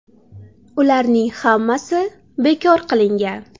Ularning hammasi bekor qilingan.